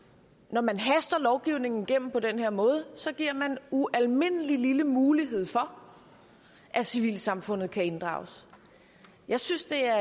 når man haster lovgivningen igennem på den her måde giver man ualmindelig lille mulighed for at civilsamfundet kan inddrages jeg synes det er